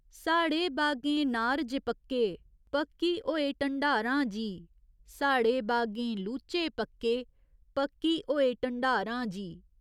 साढ़े बागें नार जे पक्के, पक्की होए ढंडारां जी साढ़े बागें लूचे पक्के, पक्की होए ढंडारां जी।